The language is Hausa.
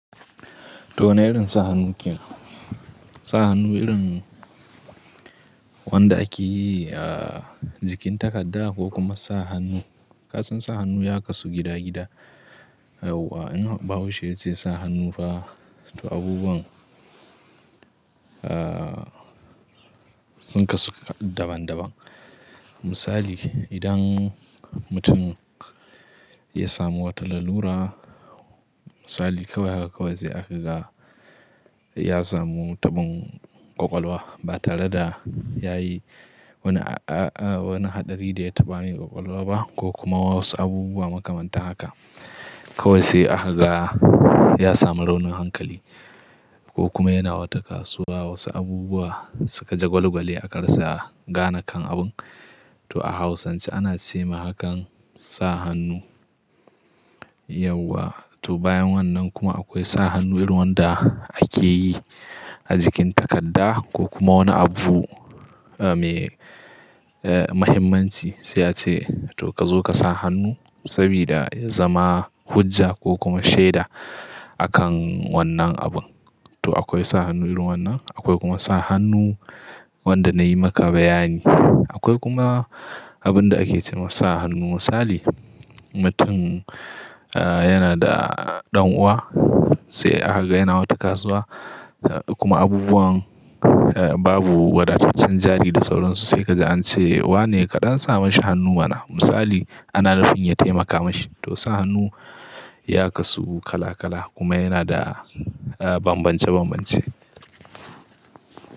To wane irin sa hannu kenan? Sa hannu irin wanda ake yi a jikin takarda ko kuma sa hannu, kasan sa hannu ya kasu gida-gida, yawwa In Bahaushe ya ce sa hannu fa, to abubuwan sun kasu daban daban. Misali, idan mutum ya samu wata lalura, misali kawai haka kawai sai aka ga ya samu taɓin ƙwaƙwalwa ba tare da ya yi wani a-a-a wani haɗari da ya taɓa yi ƙwaƙwalwa ba, ko kuma wasu abubuwa makamantan haka. Kawai sai aka ga ya samu raunin hankali ko kuma yana wata kasuwa wasu abubuwa suka jagwalgwale akarasa gane kan abun, to a Hausance ana ce ma hakan sa hannu, yauwa. To bayan wannan kuma akwai sa hannu irin wanda ake yi a jikin takarda ko kuma wani abu me, eh, mahimmanci, sai a ce to kazo ka sa hannu, sabida ya zama hujja ko kuma shaida a kan wannan abun. To akwai sa hannu irin wannan. Akwai kuma sa hannu wanda na yi maka bayani. Akwai kuma abin da ake ce ma sa hannu misali, mutum, eh, yana da ɗan'uwa sai aka ga yana wata kasuwa kuma abubuwan babu wadataccen jari da sauransu, sai ka ji an ce wa ne kaɗan sa mashi hannu mana, misali ana nufin ya taimaka mashi. To sa hannu ya kasu kala-kala, kuma yana da bambance-bambance.